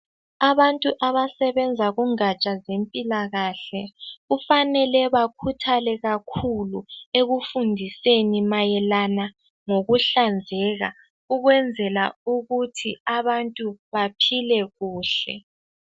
Abantu abasebenza kungatsha zempilakahle kufanele bakhuthale kakhulu ekufundiseni mayelana ngokuhlanzeka ukwenzela ukuthi abantu baphile kuhle.